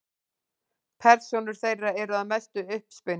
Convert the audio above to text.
Persónur þeirra eru að mestu uppspuni.